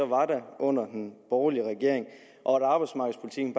var der under den borgerlige regering og at arbejdsmarkedspolitikken